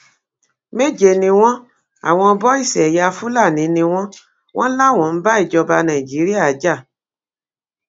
méje ni wọn àwọn bọìsì ẹyà fúlàní ni wọn wọn láwọn ń bá ìjọba nàìjíríà jà